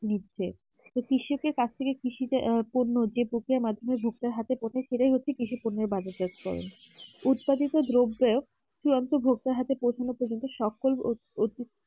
তো কৃষক এর কাছ থেকে কৃষদের আহ যে পূর্ণ যে প্রক্রিয়ার মাধ্যমে সেটাই হচ্ছে কৃষি উৎপাদিত ধব্ব সে অন্ত বক্তার হাথে